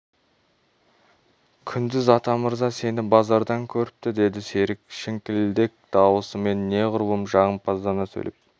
күндіз атамырза сені базардан көріпті деді серік шіңкілдек дауысымен неғұрлым жағымпаздана сөйлеп